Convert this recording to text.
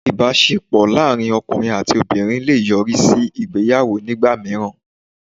Ìbásepọ̀ láàrín ọkùnrin àti obìnrin le è yọrí sí ìgbéyàwó nígbà míràn